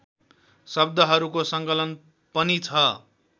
शब्दहरूको सङ्कलन पनि छ